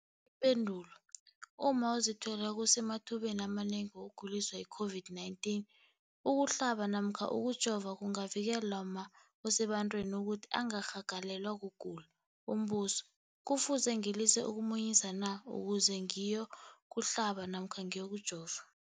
Ipendulo, umma ozithweleko usemathubeni amanengi wokuguliswa yi-COVID-19. Ukuhlaba namkha ukujova kungavikela umma osebantwini ukuthi angarhagalelwa kugula. Umbuzo, kufuze ngilise ukumunyisa na ukuze ngiyokuhlaba namkha ngiyokujova?